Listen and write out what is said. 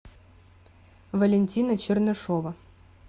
валентина чернышова